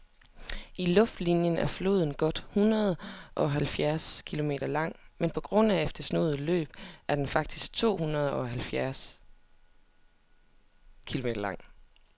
I luftlinie er floden godt hundredeoghalvfjerds kilometer lang, men på grund af det snoede løb er den faktisk tohundredeoghalvtreds kilometer lang.